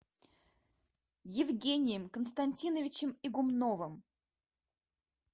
евгением константиновичем игумновым